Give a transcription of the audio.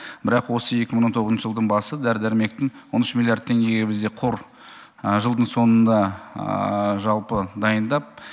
бірақ осы екі мың он тоғызыншы жылдың басы дәрі дәрмектің он үш миллиард теңгеге бізде қор жылдың соңында жалпы дайындап